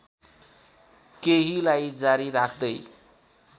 केहीलाई जारी राख्दै